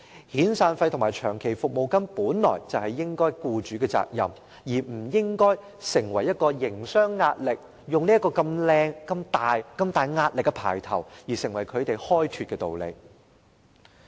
遣散費和長期服務金本應是僱主的責任，並不會構成甚麼營商壓力，他們不能用如此冠冕堂皇的言詞推搪不取消對沖安排。